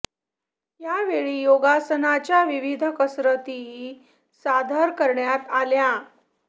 या वेळी योगासनांच्या विविध कसरतीही सादर करण्यात आल्या